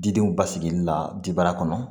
Didenw basigili la jibara kɔnɔ